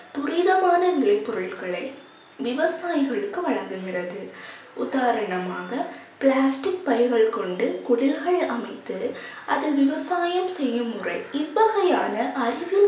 துரிதமான விலை பொருட்களை விவசாயிகளுக்கு வழங்குகிறது உதாரணமாக plastic பைகள் கொண்டு குடில்கள் அமைத்து அதில் விவசாயம் செய்யும் முறை இவ்வகையான அறிவியல்